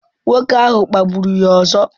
Nwoke ahụ kpagburu ya ọzọ.